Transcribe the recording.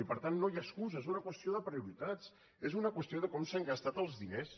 i per tant no hi ha excuses és una qüestió de prioritats és una qüestió de com s’han gas·tat els diners